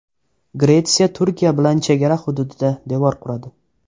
Gretsiya Turkiya bilan chegara hududida devor quradi.